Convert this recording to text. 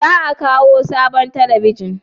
Za a kawo sabon talabijin?